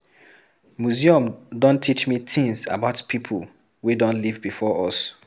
Museum don teach me tins about people wey don live before us